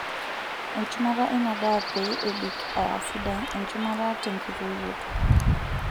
Enchumata eina daa pee ebik aa sidai, enchumata tenkitoyioto.